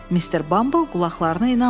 Mister Bumble qulaqlarına inanmadı.